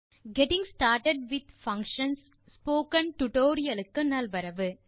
getting started with functions tutorial க்கு நல்வரவு